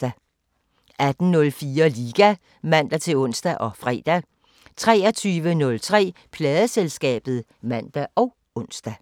18:04: Liga (man-ons og fre) 23:03: Pladeselskabet (man og ons)